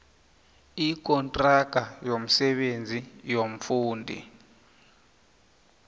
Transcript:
ikontraga yomsebenzi yomfundi